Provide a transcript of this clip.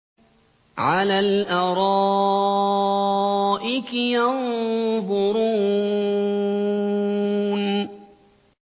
عَلَى الْأَرَائِكِ يَنظُرُونَ